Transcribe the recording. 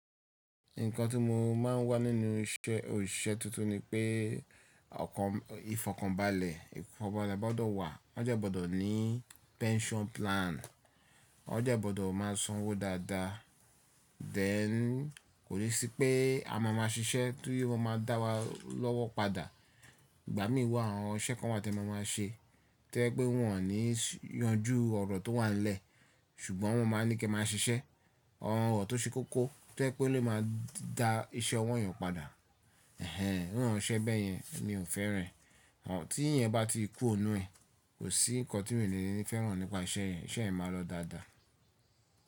Nǹkan tí mo máa ń wá nínú iṣẹ́, òṣìṣẹ́ tuntun ni pé ọkàn, ìfọkànbalẹ̀, ìfọkànbalẹ̀ gbọ́dọ̀ wà. Wọ́n jẹ́ gbọ́dọ̀ ní pension plan, wọ́n jẹ́ gbọ́dọ̀ máa sanwó dáadáa. Then kò ni sí pé a máa ma ṣiṣẹ́ ti o ma máa dá wa lọ́wọ́ padà. Ìgbà mí wà, àwọn iṣẹ kan wà tẹ máa máa ṣe. To yẹ pé wọn ò ní yanjú ọ̀rọ̀ tó wà nlẹ̀, ṣùgbọ́n wọ́n ma máa ní kí ẹ máa ṣiṣẹ́. Awọn ọ̀rọ̀ tó ṣe kókó, to yẹ́ pé ó lè máa da iṣẹ́ ọwọ yàn padà. Ẹ̀hẹn, irú àwọn iṣẹ́ bẹ́ẹ̀ yẹn mi ò fẹ́ran ẹ tí ìyẹn bá ti ku ò nu ẹ, kò sí nǹkan tí mi ò ní fẹ́ràn nípa iṣẹ́ yẹn. Ìṣe yẹn máa lọ dáadáa.